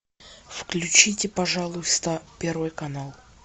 включите пожалуйста первый канал